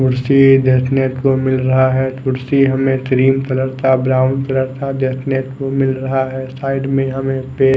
खुर्ची देखने को मिल रहा है खुर्ची हमे क्रीम कलर का ब्राउन कलर का देखने को मिल रहा है साईड में हमे पेड़ --